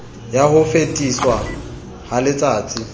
ya ho fetiswa ha letsatsai